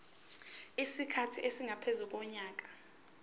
isikhathi esingaphezu konyaka